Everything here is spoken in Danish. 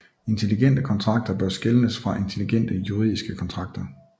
Intelligente kontrakter bør skelnes fra intelligente juridiske kontrakter